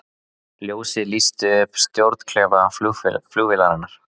Ljósið lýsti upp stjórnklefa flugvélarinnar